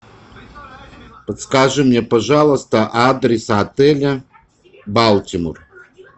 подскажи мне пожалуйста адрес отеля балтимор